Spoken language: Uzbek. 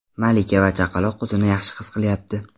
Malika va chaqaloq o‘zini yaxshi his qilyapti.